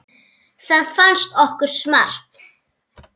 Það fannst okkur smart.